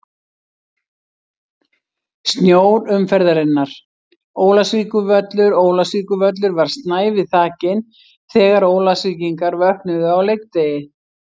Snjór umferðarinnar: Ólafsvíkurvöllur Ólafsvíkurvöllur var snævi þakinn þegar Ólafsvíkingar vöknuðu á leikdegi.